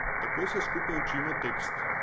Tako se skupaj učimo tekst.